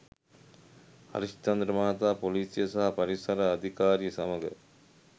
හරිස්චන්‍ද්‍ර මහතා පොලීසිය සහ පරිසර අධිකාරිය සමඟ